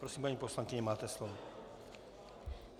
Prosím, paní poslankyně, máte slovo.